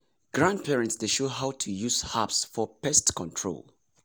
grandparents dey show how to use herbs for pest control.